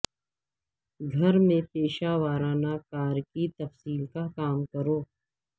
گھر میں پیشہ ورانہ کار کی تفصیل کا کام کرو